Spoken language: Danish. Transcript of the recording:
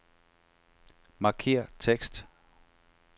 Markér tekst.